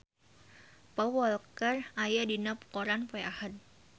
Paul Walker aya dina koran poe Ahad